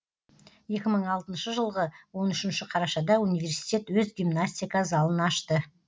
екі мың алтыншы жылғы он үшінші қарашада университет өз гимнастика залын ашты